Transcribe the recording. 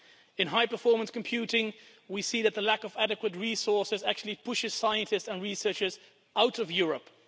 In high performance computing we see that the lack of adequate resources actually pushes scientists and researchers out of Europe.